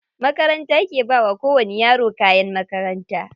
Makaranta ke bawa ko wani yaro kayan makaranta.